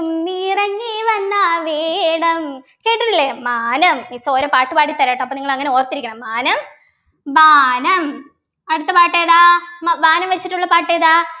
നിറഞ്ഞേ വന്നാൽ വേണം കേട്ടിട്ടില്ലേ മാനം miss ഓരോ പാട്ടുപാടി തരാട്ടോ അപ്പോ നിങ്ങൾ അങ്ങനെ ഓർത്തിരിക്കണം മാനം മാനം അടുത്ത പാട്ട് ഏതാ മ വാനം വെച്ചിട്ടുള്ള പാട്ട് ഏതാ